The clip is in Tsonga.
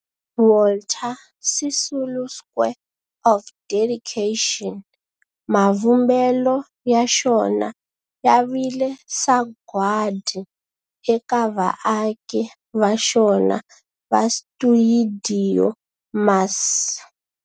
Walter Sisulu Square of Dedication, mavumbelo ya xona ya vile sagwadi eka vaaki va xona va stuidio MAS.